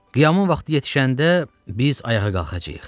Qiyamın vaxtı yetişəndə biz ayağa qalxacağıq.